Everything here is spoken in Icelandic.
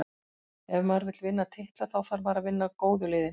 Ef maður vill vinna titla, þá þarf maður að vinna góðu liðin.